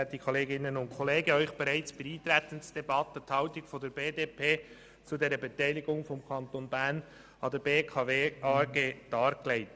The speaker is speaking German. Ich habe Ihnen bereits bei der Eintretensdebatte die Haltung der BDP zur Beteiligung des Kantons Bern an der BKW AG dargelegt.